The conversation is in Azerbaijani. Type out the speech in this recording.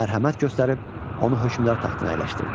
Mərhəmət göstərib onu hökmdar taxtına əyləşdirdi.